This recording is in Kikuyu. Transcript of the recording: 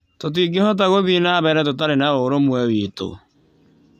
Tũtingĩhota gũthiĩ na mbere tũtarĩ na ũrũmwe witũ.